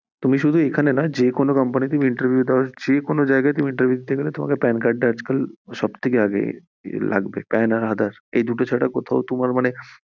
তুমি শুধু এখানে না যেকোনো company তে interview দাও, যেখানে interview দিতে গেলে, pan card সব থেকে আগে লাগবে pan আর aadhar, এই দুটো ছাড়া কোথাও তোমার মানে